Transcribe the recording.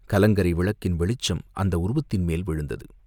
கலங்கரை விளக்கின் வெளிச்சம் அந்த உருவத்தின் மேல் விழுந்தது.